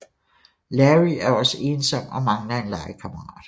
Larry er også ensom og mangler en legekammerat